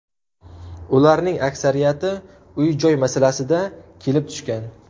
Ularning aksariyati uy-joy masalasida kelib tushgan.